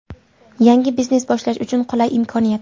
Yangi biznes boshlash uchun qulay imkoniyat!.